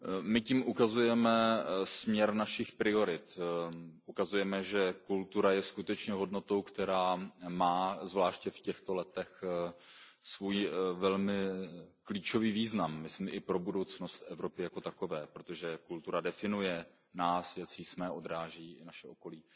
My tím ukazujeme směr našich priorit, ukazujeme, že kultura je skutečně hodnotou, která má zvláště v těchto letech svůj velmi klíčový význam, a to myslím i pro budoucnost Evropy jako takové, protože kultura definuje nás, jací jsme, a odráží i naše okolí.